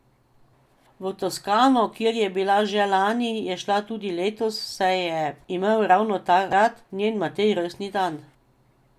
V Toskano, kjer je bila že lani, je šla tudi letos, saj je imel ravno takrat njen Matej rojstni dan.